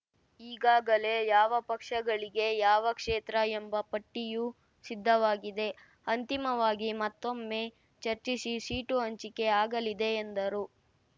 ಈಗಾಗಲೇ ಯಾವ ಪಕ್ಷಗಳಿಗೆ ಯಾವ ಕ್ಷೇತ್ರ ಎಂಬ ಪಟ್ಟಿಯೂ ಸಿದ್ಧವಾಗಿದೆ ಅಂತಿಮವಾಗಿ ಮತ್ತೊಮ್ಮೆ ಚರ್ಚಿಸಿ ಸೀಟು ಹಂಚಿಕೆ ಆಗಲಿದೆ ಎಂದರು